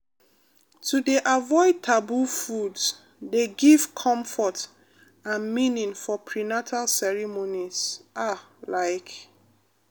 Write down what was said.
to dey avoid taboo foods dey give comfort and meaning for prenatal ceremonies ah like